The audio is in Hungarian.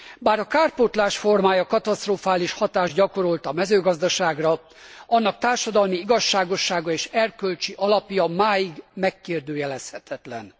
Bár a kárpótlás formája katasztrofális hatást gyakorolt a mezőgazdaságra, annak társadalmi igazságossága és erkölcsi alapja máig megkérdőjelezhetetlen.